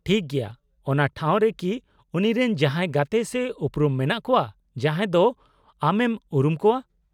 -ᱴᱷᱤᱠ ᱜᱮᱭᱟ ᱾ ᱚᱱᱟ ᱴᱷᱟᱣ ᱨᱮᱠᱤ ᱩᱱᱤᱨᱮᱱ ᱡᱟᱦᱟᱸᱭ ᱜᱟᱛᱮ ᱥᱮ ᱩᱯᱨᱩᱢ ᱢᱮᱱᱟᱜ ᱠᱚᱣᱟ ᱡᱟᱦᱟᱸᱭ ᱫᱚ ᱟᱢᱮᱢ ᱩᱨᱩᱢ ᱠᱚᱣᱟ ?